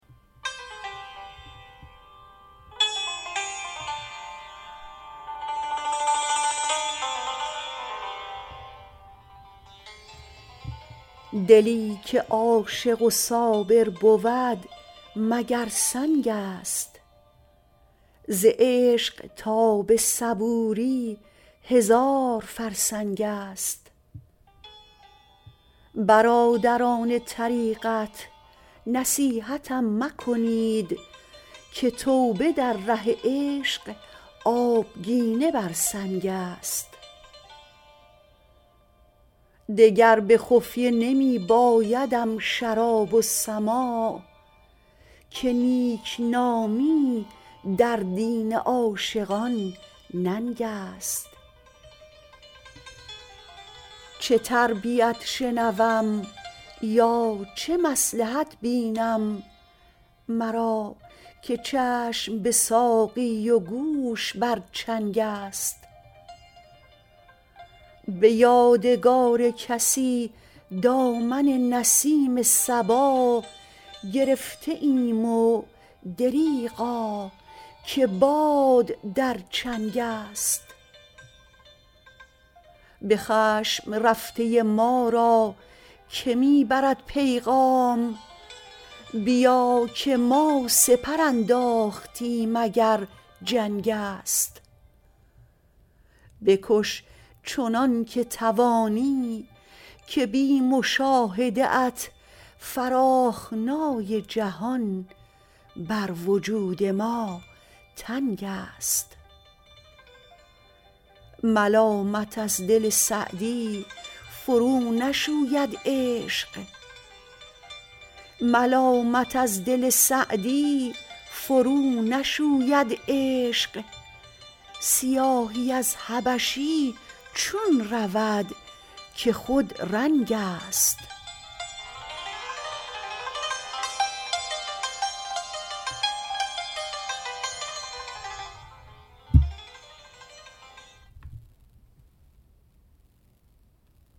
دلی که عاشق و صابر بود مگر سنگ است ز عشق تا به صبوری هزار فرسنگ است برادران طریقت نصیحتم مکنید که توبه در ره عشق آبگینه بر سنگ است دگر به خفیه نمی بایدم شراب و سماع که نیکنامی در دین عاشقان ننگ است چه تربیت شنوم یا چه مصلحت بینم مرا که چشم به ساقی و گوش بر چنگ است به یادگار کسی دامن نسیم صبا گرفته ایم و دریغا که باد در چنگ است به خشم رفته ما را که می برد پیغام بیا که ما سپر انداختیم اگر جنگ است بکش چنان که توانی که بی مشاهده ات فراخنای جهان بر وجود ما تنگ است ملامت از دل سعدی فرونشوید عشق سیاهی از حبشی چون رود که خودرنگ است